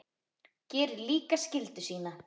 Gerir líka skyldu sína.